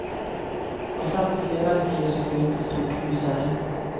Och framtiden verkar just nu inte stort ljusare.